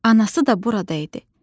Anası da burada idi.